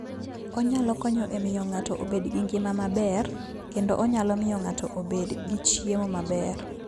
Onyalo konyo e miyo ng'ato obed gi ngima maber, kendo onyalo miyo ng'ato obed gi chiemo maber.